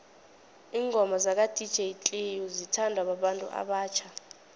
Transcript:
ingoma zaka dj cleo zithanwa babantu abatjha